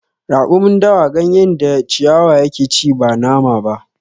Raƙumin dawa gayen da ciwaya ya ke ci ba nama ba